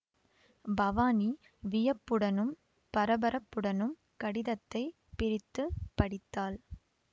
பவானி வியப்புடனும் பரபரப்புடனும் கடிதத்தை பிரித்து படித்தாள்